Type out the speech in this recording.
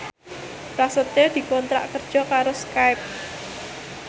Prasetyo dikontrak kerja karo Skype